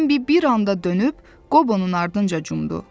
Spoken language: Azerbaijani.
Bembi bir anda dönüb Qobonun ardınca cumbdu.